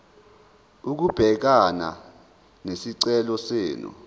ukubhekana nesicelo senu